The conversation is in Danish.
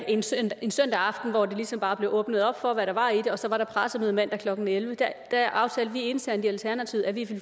en søndag en søndag aften hvor der ligesom bare blev åbnet op for hvad der var i det og så var der pressemøde mandag klokken elleve aftalte vi internt i alternativet at vi